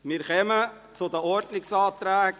Wir kommen zu den Ordnungsanträgen.